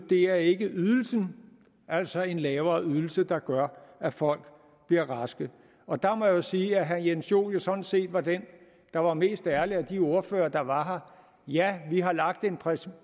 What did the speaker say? er ikke ydelsen altså en lavere ydelse der gør at folk bliver raske og der må jeg sige at herre jens joel jo sådan set var den der var mest ærlig af de ordførere der var her ja vi har lagt en præmis